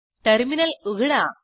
terminal उघडा